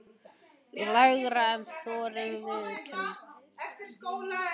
Lægra en ég þori að viðurkenna.